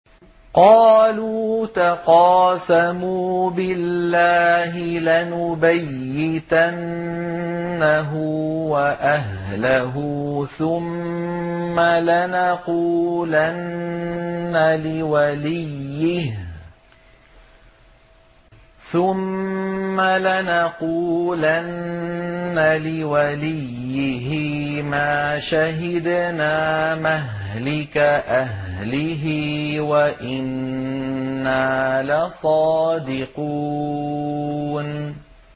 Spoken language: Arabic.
قَالُوا تَقَاسَمُوا بِاللَّهِ لَنُبَيِّتَنَّهُ وَأَهْلَهُ ثُمَّ لَنَقُولَنَّ لِوَلِيِّهِ مَا شَهِدْنَا مَهْلِكَ أَهْلِهِ وَإِنَّا لَصَادِقُونَ